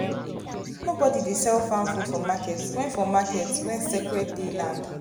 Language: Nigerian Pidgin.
nobody dey sell farm food for market when for market when sacred day land